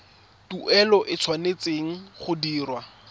tuelo e tshwanetse go dirwa